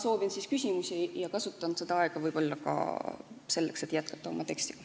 Ei, ma ootan küsimusi ja kasutan vastamise aega võib-olla ka selleks, et jätkata oma tekstiga.